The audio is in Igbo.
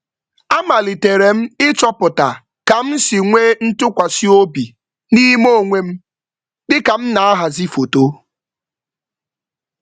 Amaliterem ịchọpụta ka msi nwee ntukwasi obi n'ime onwem, dịka m nahazi foto